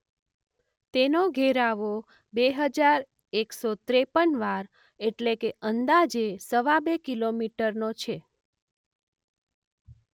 તેનો ઘેરાવો બે હજાર એકસો ત્રેપન વાર એટલે કે અંદાજે સવા બે કિલો મીટરનો છે.